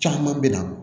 Caman bɛ na